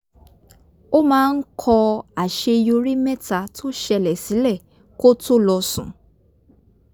ó máa ń kọ àṣeyorí mẹ́ta tó ṣẹlẹ̀ sílẹ̀ kó tó lọ sùn